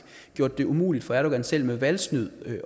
gjort det umuligt for erdogan selv med valgsnyd